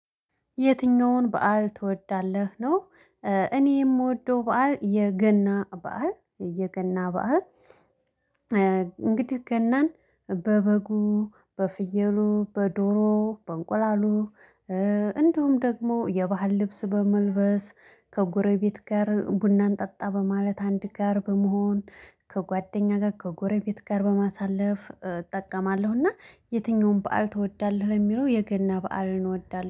የትኛውን በዓል ትወዳለህ ነው? እኔ የምወደው በዓል የገና በዓል የገና በዓል። እንግዲህ ገናን በበጉ በፍየሉ በዶሮ በእንቁላሉ እንዲሁም ደግሞ የባህል ልብስ በመልበስ ከጎረቤት ጋር ቡናን ጠጣ በማለት አንድ ጋር በመሆን ከጓደኛ ጋር ከጎረቤት ጋር በማሳለፍ እጠቀማለሁ። እና የትኛውም በዓል ትወዳለህ የሚለው የገና በዓልን እወዳለሁ